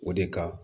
O de kan